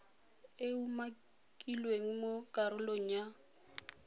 e umakilweng mo karolong ya